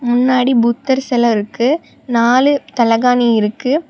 முன்னாடி புத்தர் செல இருக்கு நாலு தலகாணி இருக்கு.